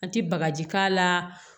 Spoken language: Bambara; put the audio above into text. An ti bagaji k'a la